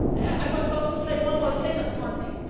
I must also say one more thing on funding.